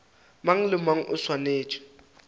mang le mang o swanetše